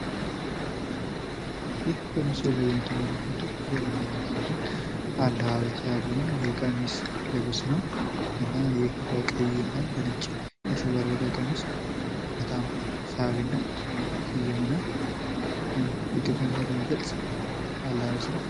ይህ በምስሉ ላይ የምትመለከቱት የአዊ ብሔረሰብ ዞን አለባበስ ነው የቀሚስ ልብስ ነው። እና ይህ በቀይ እና በነጭ ያሸበረቀው ቀሚስ በጣም ሳቢ እና ማራኪ የሆነ የኢትዮጵያን ባህል የሚገልፅ አለባበስ ነው ።